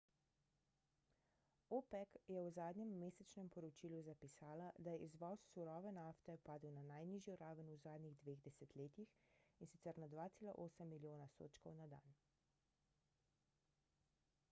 opec je v zadnjem mesečnem poročilu zapisala da je izvoz surove nafte padel na najnižjo raven v zadnjih dveh desetletjih in sicer na 2,8 milijona sodčkov na dan